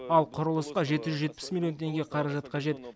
ал құрылысқа жеті жүз жетпіс миллион теңге қаражат қажет